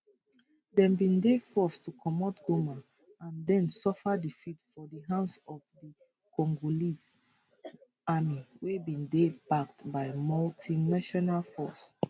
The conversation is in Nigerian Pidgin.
dem bin dey forced to comot goma and den suffer defeats for di hands of di congolese army wey bin dey backed by multinational force